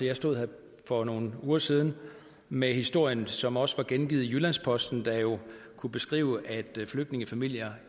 jeg stod her for nogle uger siden med historien som også var gengivet i jyllands posten der jo kunne beskrive at flygtningefamilier